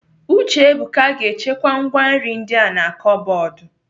Uchebuka ga-echekwa ngwá nri ndi a na kọbọdụ.